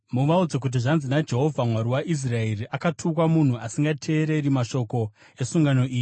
Muvaudze kuti zvanzi naJehovha Mwari waIsraeri, ‘Akatukwa munhu asingateereri mashoko esungano iyi,